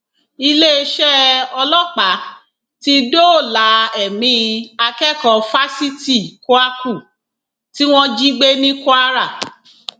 iléeṣẹ ọlọpàá ti dóòlà ẹmí akẹkọọ fásitì kwakù tí wọn jí gbé ní kwara